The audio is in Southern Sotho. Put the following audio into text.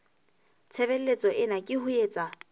tshebeletso ena ke ho etsa